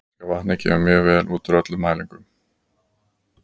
Íslenska vatnið kemur mjög vel út úr öllum mælingum.